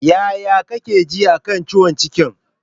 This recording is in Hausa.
Yaya kake ji a kan ciwon cikin?